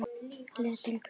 Letrið hvítt.